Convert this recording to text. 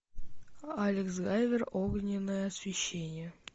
алекс гайвер огненное освещение